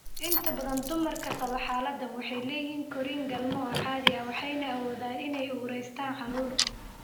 Inta badan dumarka qaba xaaladdan waxay leeyihiin korriin galmo oo caadi ah waxayna awoodaan inay uuraystaan ​​​​carruur.